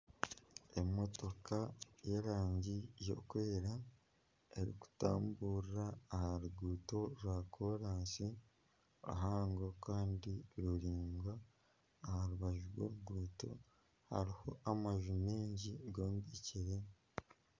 Emotoka y'erangi erikwera erikutamburira aha ruguuto rwa koraasi ruhango kandi ruraingwa aha rubaju rw'oruguuto hariho amaju maingi gombekyire.